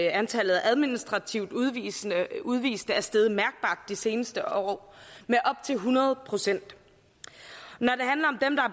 antallet af administrativt udviste udviste er steget mærkbart de seneste år med op til hundrede procent når